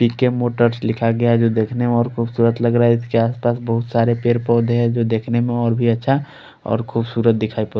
पि_के motors लिखा गया है जो देखने में बोहोत खुबसूरत लग रहा है जिसके आस पास बोहोत सारे पेड़ पोधे है जो दिखने में बोहोत ही अच्छा और खुबसूरत दिखाई--